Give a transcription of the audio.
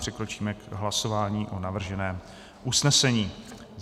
Přikročíme k hlasování o navrženém usnesení.